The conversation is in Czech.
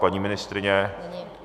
Paní ministryně?